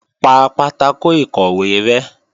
Pa pátákò ìkọ̀wé rẹ́!